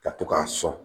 Ka to k'a sɔn